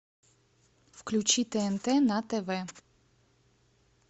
включи тнт на тв